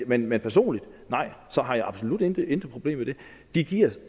men men personligt har jeg absolut intet intet problem med det